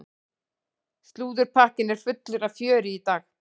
Slúðurpakkinn er fullur af fjöri í dag.